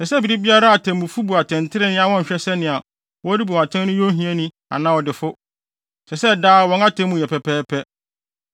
“ ‘Ɛsɛ sɛ bere biara atemmufo bu atɛntrenee a wɔnhwɛ sɛ nea worebu no atɛn no yɛ ohiani anaa ɔdefo. Ɛsɛ sɛ daa wɔn atemmu yɛ pɛpɛɛpɛ.